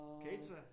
Kedet sig?